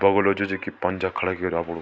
बगुला जु च की पंजा खड़ा करयां अपड़ु।